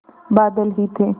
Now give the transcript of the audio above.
बादल ही थे